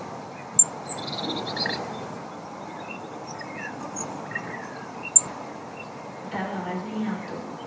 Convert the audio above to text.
તારો અવાજ નઈ આવતો.